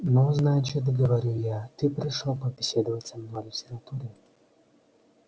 ну значит говорю я ты пришёл побеседовать со мной о литературе